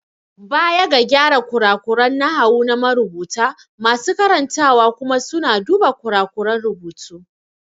Baya ga gyara kurakuran nahawu na marubuta, masu karantawa kuma suna duba kurakuran rubutu.